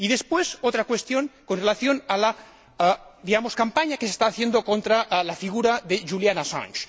Y, después, otra cuestión con relación a la campaña que se está haciendo contra la figura de Julian Assange.